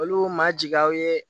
Olu ma jigi aw ye